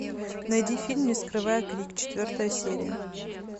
найди фильм не скрывая крик четвертая серия